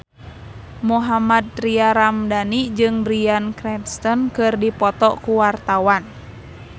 Mohammad Tria Ramadhani jeung Bryan Cranston keur dipoto ku wartawan